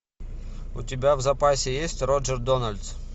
у тебя в запасе есть роджер дональдс